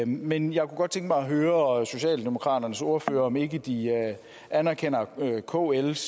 men jeg kunne godt tænke mig at høre socialdemokraternes ordfører om ikke de anerkender kls